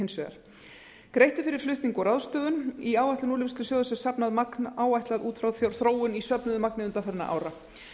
hins vegar greitt er fyrir flutning og ráðstöfun í áætlun úrvinnslusjóðs er safnað magn áætlað út frá þróun í söfnuðu magni undanfarinna ára